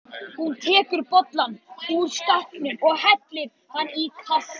Hún tekur bolla ofan úr skáp og hellir í hann kaffi.